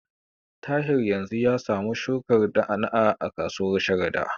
Tahir yanzu ya samu shukar na'a-na'a a kasuwar Sharada.